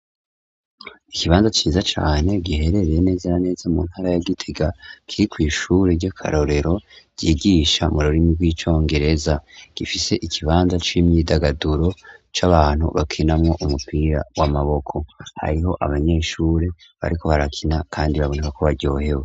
Ikibanza ciza cane giherereye neze na neza mu ntara ya gitega kiri ku ishure ry'akarorero ryigisha mururimi rw'icongereza gifise ikibanza c'imyidagaduro c'abantu bakinamo umupira w'amaboko ariho abanyeshure bariko barakina kandi babonaka ko baryohewe.